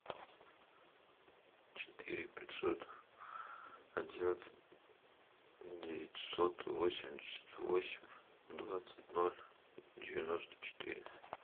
четыре пятьсот одиннадцать девятьсот восемьдесят восемь двадцать ноль девяносто четыре